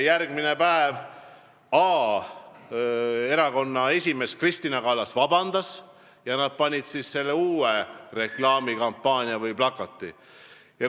Järgmine päev erakonna esimees Kristina Kallas palus vabandust ja nad panid üles uued reklaamplakatid.